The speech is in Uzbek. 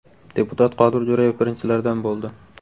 Deputat Qodir Jo‘rayev birinchilardan bo‘ldi .